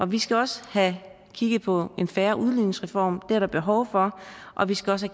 vi skal også have kigget på en fair udligningsreform det er der behov for og vi skal også